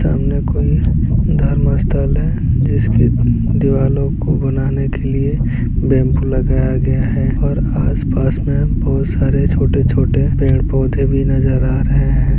सामने कोई धर्म स्थल है जिसके दीवालों को बनाने के लिए बम्बू लगाया गया है और आस-पास में बहुत सरे छोटे-छोटे पेड़-पौधे भी नज़र आ रहे हैं।